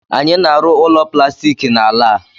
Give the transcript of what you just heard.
Anyị na-arụ ụlọ plastiki n'ala a